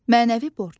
Mənəvi borc.